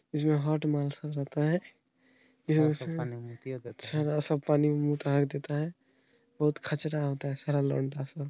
इसमें हाट मानसिकता रहता है बहुत खर्चा होता है सारा लुंडा सा।